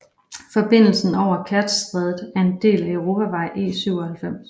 Forbindelsen over Kertjstrædet er en del af Europavej E97